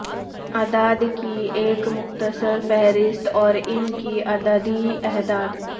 اعداد کی ایک مختصر فہرست اور ان کی عددی عہدہ